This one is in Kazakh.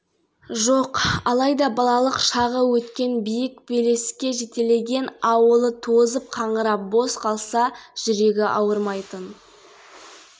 авторлары гүлмайра қуатбайқызы бекболат базаров ақмолалық меценаттар аймақта рухани жаңғыру бағдарламасын жүзеге асыруға миллиард теңгедей қаржы